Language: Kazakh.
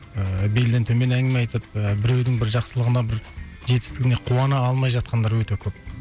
ыыы белден төмен әңгіме айтып ы біреудің бір жақсылығына бір жетістігіне қуана алмай жатқандар өте көп